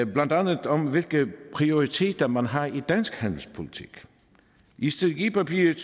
blandt andet om hvilke prioriteter man har i dansk handelspolitik i strategipapiret